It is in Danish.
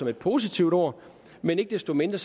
et positivt ord men ikke desto mindre